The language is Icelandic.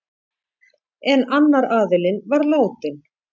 En annar aðilinn var látinn.